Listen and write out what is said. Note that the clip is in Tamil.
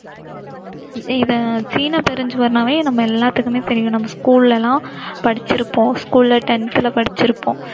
இதை, சீனபெருசுவர்ன்னாவே நம்ம எல்லாத்துக்குமே தெரியும் நம்ம school எல்லாம் படிச்சிருப்போம். school ல tenth ல படிச்சிருப்போம்.